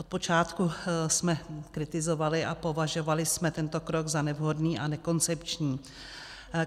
Od počátku jsme kritizovali a považovali jsme tento krok za nevhodný a nekoncepční.